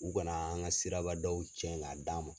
U kana anka siraba daw cɛn k'a d'an ma